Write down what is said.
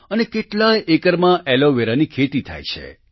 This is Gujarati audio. અને કેટલાય એકરમાં એલોવેરાની ખેતી થાય છે